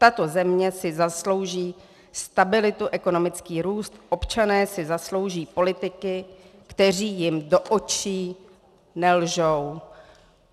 Tato země si zaslouží stabilitu, ekonomický růst, občané si zaslouží politiky, kteří jim do očí nelžou.